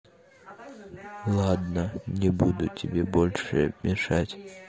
ладно не буду тебе больше мешать